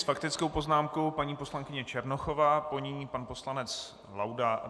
S faktickou poznámkou paní poslankyně Černochová, po ní pan poslanec Laudát.